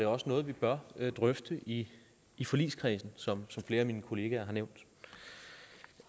også noget vi bør drøfte i i forligskredsen som flere af mine kollegaer har nævnt